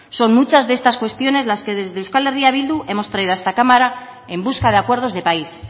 son muchas de estas cuestiones las que desde euskal herria bildu hemos traído a esta cámara en busca de acuerdos de país